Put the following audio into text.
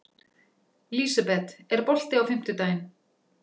Lísebet, er bolti á fimmtudaginn?